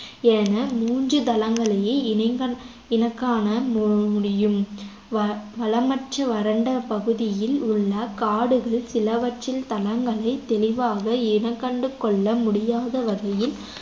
என மூன்று தளங்களையே இனைங்க~ இனக்காண முடியும் வ~ வளமற்ற வரண்ட பகுதிகளில் உள்ள காடுகள் சிலவற்றில் தளங்களைத் தெளிவாக இனங்கண்டுகொள்ள முடியாத வகையில்